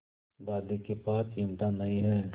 दादी के पास चिमटा नहीं है